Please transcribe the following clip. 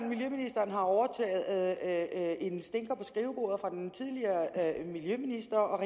miljøministeren har overtaget en stinker på skrivebordet fra den tidligere miljøminister og